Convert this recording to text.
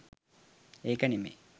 ඒක නෙමෙයි